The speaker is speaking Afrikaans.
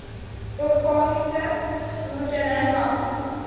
organiese boerdery maklik